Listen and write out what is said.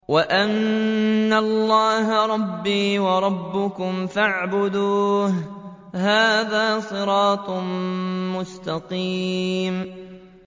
وَإِنَّ اللَّهَ رَبِّي وَرَبُّكُمْ فَاعْبُدُوهُ ۚ هَٰذَا صِرَاطٌ مُّسْتَقِيمٌ